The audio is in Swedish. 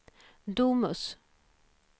Domus